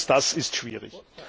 All das ist schwierig.